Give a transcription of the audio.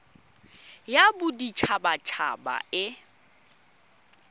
ya bodit habat haba e